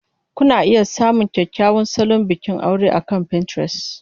Kuna iya samun kyakkyawan salon bikin aure akan Pinterest.